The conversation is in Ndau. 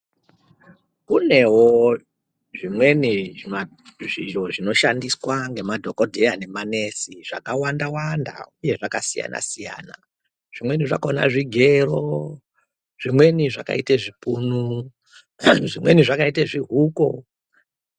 Kunewo zvimweni zvimashizho zvinoshandiswa nemadhokodheya nemanesi zvakawanda wqnda uye zvakasiyana siyana zvimweni zvakaite zvigero zvimweni zvakaite zvipunu hee zvimweni zvakaite zvihuko.